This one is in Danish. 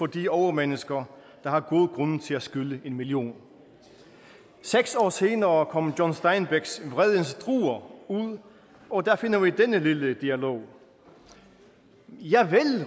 de overmennesker der har gode grunde til at skylde en million seks år senere kom john steinbecks vredens druer ud og der finder vi denne lille dialog javel